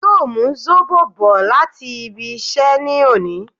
Yóò mú Zóbò bò láti ibí iṣẹ́ ní òní